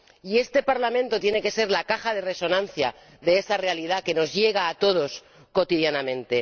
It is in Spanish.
Y este Parlamento tiene que ser la caja de resonancia de esa realidad que nos llega a todos cotidianamente.